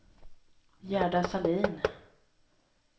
Gerda Sahlin